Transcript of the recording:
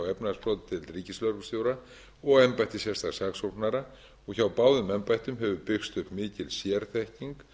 efnahagsbrotadeild ríkislögreglustjóra og embætti sérstaks saksóknara og hjá báðum embættum hefur byggst upp mikil sérþekking og